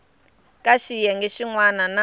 ka xiyenge xin wana na